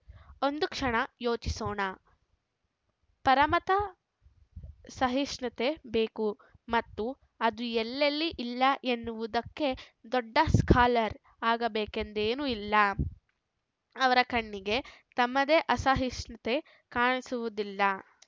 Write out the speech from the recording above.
ಒಂದು ಕ್ಷಣ ಯೋಚಿಸೋಣ ಪರಮತ ಸಹಿಷ್ಣತೆ ಬೇಕು ಮತ್ತು ಅದು ಎಲ್ಲೆಲ್ಲಿ ಇಲ್ಲ ಎನ್ನುವುದಕ್ಕೆ ದೊಡ್ಡ ಸ್ಕಾಲರ್‌ ಆಗಬೇಕೆಂದೇನೂ ಇಲ್ಲ ಅವರ ಕಣ್ಣಿಗೆ ತಮ್ಮದೇ ಅಸಹಿಷ್ಣತೆ ಕಾಣಿಸುವುದಿಲ್ಲ